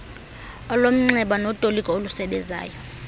olomnxeba notoliko olusebezayo